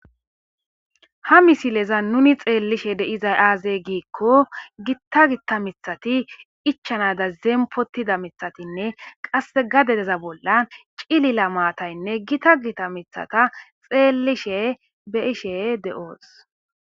Ha misilezan nuuni xeellishe de7izay aazee giikko giththa giththa miththathi ichchanaadan zeemppoththida miththathinne qasse gadedeza bolla cilila maathaynne githa githa miththatha xeellishee be7ishee de7oos.